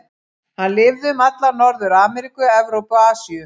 Hann lifði um alla Norður-Ameríku, Evrópu og Asíu.